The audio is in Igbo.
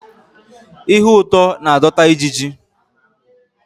Ihe ụtọ na-adọta ijiji